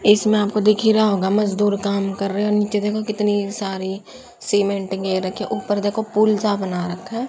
इसमें आपको दिख ही रहा होगा मजदूर काम कर रहे हैं और नीचे देखो कितनी सारी सीमेंट ये रखी ऊपर देखो पुल सा बना रखा है।